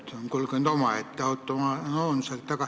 See on kulgenud omaette, autonoomselt.